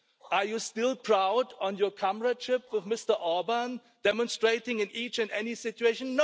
Are you still proud of your comradeship with Mr Orban, demonstrating it in each and every situation?